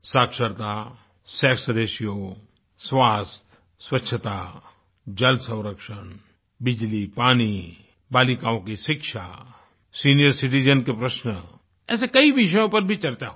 साक्षरता sex ratio स्वास्थ्य स्वच्छता जल संरक्षण बिजली पानी बालिकाओं की शिक्षा सीनियर सिटिजेन के प्रश्न ऐसे कई विषयों पर भी चर्चा हुई